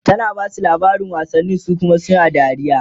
tana Basu labarin wasanni su Kuma suna dariya